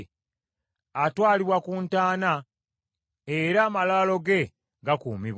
Atwalibwa ku ntaana, era amalaalo ge gakuumibwa.